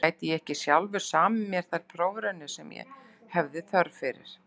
Gæti ég ekki sjálfur samið mér þær prófraunir sem ég hefði þörf fyrir?